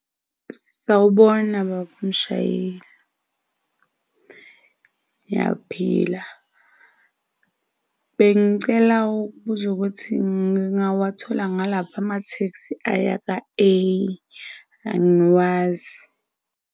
Sawubona bab'umshayeli, ngiyaphila. Bengicela ukubuza ukuthi ngingawathola ngalaphi ama-taxi aya kwa-A, angiwazi.